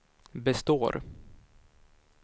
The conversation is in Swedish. består